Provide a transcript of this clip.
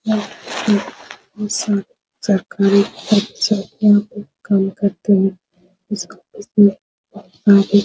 यह एक दुकान सरकारी यहाँ काम करते हैं --